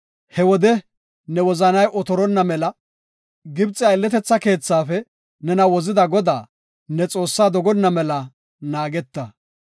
he wode, ne wozanay otortonna mela, Gibxe aylletetha keethaafe nena wozida Godaa, ne Xoossaa dogonna mela naageta.